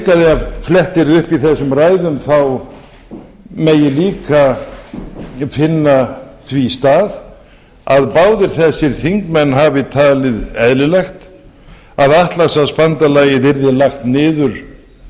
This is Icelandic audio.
ef flett yrði upp í þessum ræðum megi líka finna því stað að báðir þessir þingmenn hafi talið eðlilegt að atlantshafsbandalagið yrði lagt niður